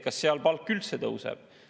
Kas seal palk üldse tõuseb?